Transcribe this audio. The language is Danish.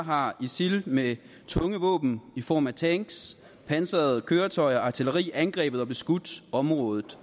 har isil med tunge våben i form af tanks pansrede køretøjer og artilleri angrebet og beskudt området